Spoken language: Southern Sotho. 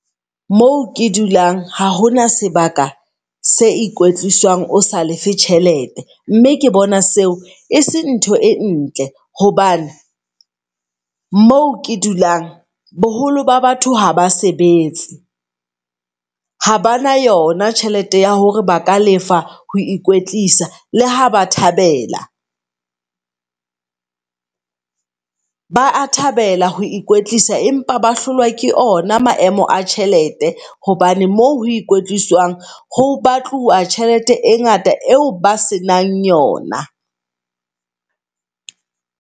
Moo ke dulang ha hona, sebaka se o ikwetlisang osa lefe tjhelete. Mme ke bona seo e seng ntho e ntle hobane moo ke dulang boholo ba batho haba sebetse. Habana yona tjhelete ya hore baka lefa ho ikwetlisa le ha ba thabela. Ba a thabela ho ikwetlisa empa ba hlolwa ke ona maemo a tjhelete. Hobane mo ho ikwetliswang ho batluwa tjhelete e ngata eo ba se nang yona.